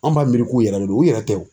An b'a miiri k'u yɛrɛ de do u yɛrɛ tɛ o.